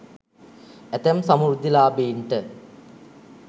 ඇතැම් සමෘද්ධිලාභීන්ට